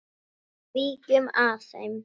Víkjum að þeim.